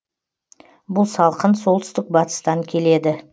бұл салқын солтүстік батыстан келеді